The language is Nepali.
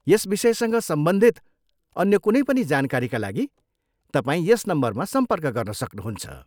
यस विषयसँग सम्बन्धित अन्य कुनै पनि जानकारीका लागि तपाईँ यस नम्बरमा सम्पर्क गर्न सक्नुहुन्छ।